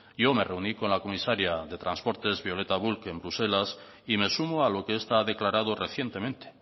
yo me reuní con la comisaria de transportes violeta bulc en bruselas y me sumo a lo que esta ha declarado recientemente